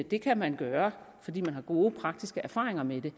det kan man gøre fordi man har gode praktiske erfaringer med det